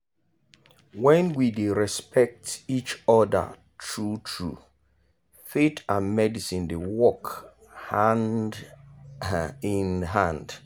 when we dey respect each other true-true faith and medicine dey work hand um in hand.